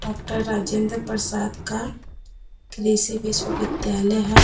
Doctor Rajendra Prasad का कृषि विश्व विद्यालय है।